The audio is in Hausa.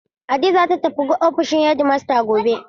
Hadiza zata tafi ofishin hedimasta gobe.